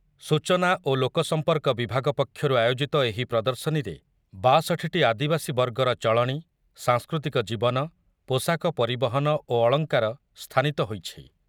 ସୂଚନା ଓ ଲୋକସମ୍ପର୍କ ବିଭାଗ ପକ୍ଷରୁ ଆୟୋଜିତ ଏହି ପ୍ରଦର୍ଶନୀରେ ବାଷଠି ଟି ଆଦିବାସୀ ବର୍ଗର ଚଳଣୀ, ସାଂସ୍କୃତିକ ଜୀବନ, ପୋଷାକ, ପରିବହନ ଓ ଅଳଙ୍କାର ସ୍ଥାନିତ ହୋଇଛି।